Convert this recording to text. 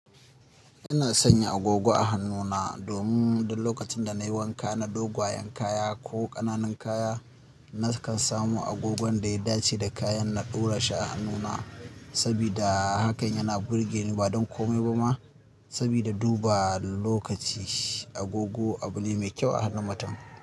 Ina sanya agogo a hannuna domin duk lokacin da na yi wanka na dogwayen kaya ko ƙananan kaya, nakan samu agogon da ya dace da kayan na ɗora shi a hannuna saboda hakan yana burgeni ba don kome ba ma saboda duba lokaci. Agogo abun ne mai kyau a hannu matan.